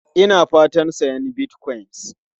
Ina fatan sayan Bitcoin.